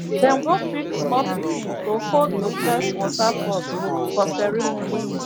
dem go pick small pikin to hold the first water pot for ceremony